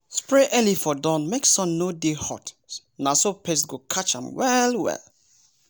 spray early for dawn make sun no dey hot na so pest go catch am well well.